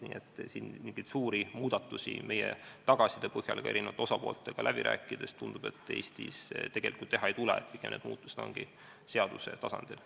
Nii et siin mingeid suuri muudatusi – nii tundub meie tagasiside põhjal ja ka eri osapooltega läbirääkimiste põhjal – Eestis tegelikult teha ei tule, pigem ongi need muudatused seaduse tasandil.